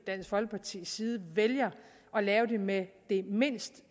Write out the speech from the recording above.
dansk folkepartis side vælger at lave det med det mindst